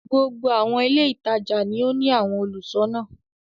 Gbogbo àwọn ilé-ìtajà ni wọ́n ní àwọn olùṣọ́ná.